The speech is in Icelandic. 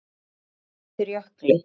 Gos undir jökli